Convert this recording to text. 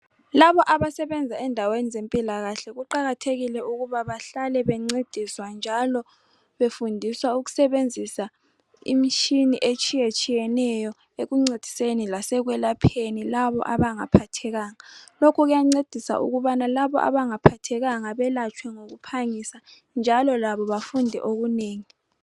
Laba abasebenza endaweni zempilakahle kuqakathekile ukuba bahlale bencediswa, njalo befundiswa ukusebenzisa imitshini etshiyetshiyeneyo ekuncediseni lasekwelapheni labo abangaphathekanga. Lokhu kuyancedisa ukubana labo abangaphathekanga belatshwe ngokuphangisa, njalo labo bafunde okunengi.